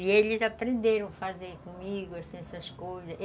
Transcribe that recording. E eles aprenderam a fazer comigo, assim, essas coisas.